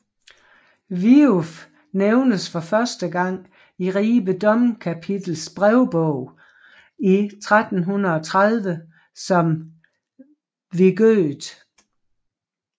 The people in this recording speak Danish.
Viuf nævnes første gang i Ribe domkapitels brevbog i 1330 som Wigøth